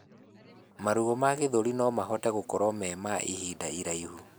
Maruo ma gĩthũri nomahote gũkorwo me ma ihinda iraihu